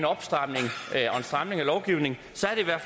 stramning af lovgivningen